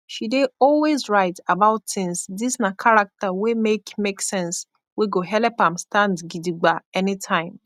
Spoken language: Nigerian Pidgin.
she dey always rite abaut tins dis na karakta wey make make sense wey go helep am stand gidigba anytime